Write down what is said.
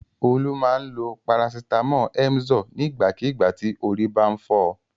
Olú máa ń lo parasítámọ̀ Emzor nígbàkigbà tí orí bá ń fọ.